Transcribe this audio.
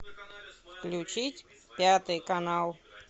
включить пятый канал